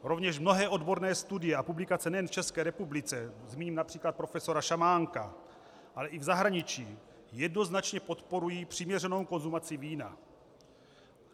Rovněž mnohé odborné studie a publikace nejen v České republice, zmíním například profesora Šamánka, ale i v zahraničí jednoznačně podporují přiměřenou konzumaci vína.